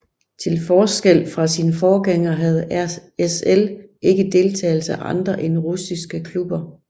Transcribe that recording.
Til forskel fra sin forgænger havde RSL ikke deltagelse af andre end russiske klubber